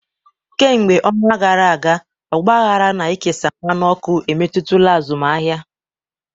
Kemgbe ọnwa gara aga, ọgbaghara na ikesa mmanụ ọkụ emetụtala azụmaahịa.